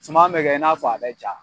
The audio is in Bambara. Suman mɛ kɛ, i n'a fɔ a bɛ ja.